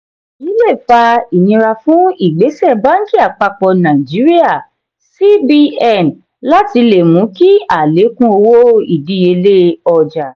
èyí lè fà inira fún ìgbésẹ bánkì àpapọ nàìjíríà cbn láti le mú kí alekun owó ìdíyelé ọjà